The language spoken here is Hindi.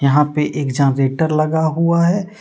यहां पे एक जनरेटर लगा हुआ है।